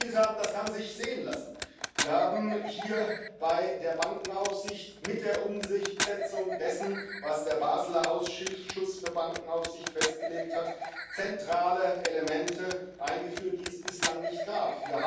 Und was wir erzielt haben, das kann sich sehen lassen Wir haben hier bei der Bankenaufsicht mit der Umsetzung dessen, was der Baseler Ausschuss für Bankenaufsicht festgelegt hat, zentrale Elemente eingeführt, die es bislang nicht gab.